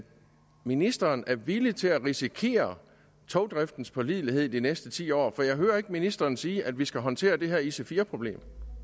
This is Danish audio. ministeren er villig til at risikere togdriftens pålidelighed i de næste ti år for jeg hører ikke ministeren sige at vi skal håndtere det her ic4 problem